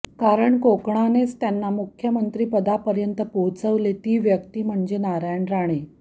कारण कोकणानेच त्यांना मुख्यमंत्रीपदापर्यंत पोहचवले ती व्यक्ती म्हणजे नारायण राणे